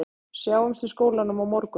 Sjáumst í skólanum á morgun